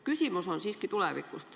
Küsimus on siiski tuleviku kohta.